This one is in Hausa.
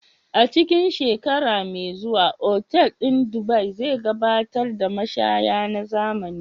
A cikin shekara mai zuwa, otal ɗin Dubai zai gabatar da mashaya na zamani.